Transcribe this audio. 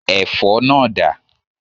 Ẹ̀fọ́ náà dà?